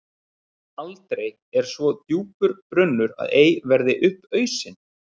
Aldrei er svo djúpur brunnur að ei verði upp ausinn.